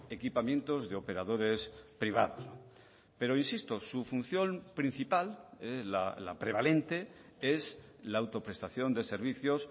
equipamientos de operadores privados pero insisto su función principal la prevalente es la autoprestación de servicios